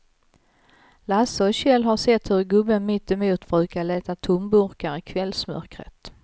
Lasse och Kjell har sett hur gubben mittemot brukar leta tomburkar i kvällsmörkret.